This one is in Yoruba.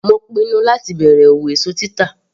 Mo pinnu láti bẹ̀rẹ̀ òwò èso títà.